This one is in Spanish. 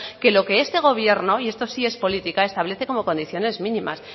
que lo que este gobierno y esto sí es política establece como condiciones mínimas